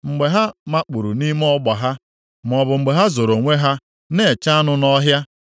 mgbe ha makpuuru nʼime ọgba ha, maọbụ mgbe ha zoro onwe ha na-eche anụ nʼọhịa?